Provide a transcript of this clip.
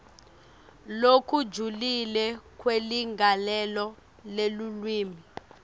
lokujulile kweligalelo lelulwimi